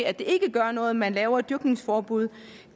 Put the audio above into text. at det ikke gør noget at man laver et dyrkningsforbud